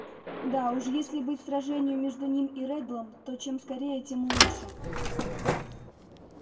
да уж если быть сражению между ним и реддлом то чем скорее тем лучше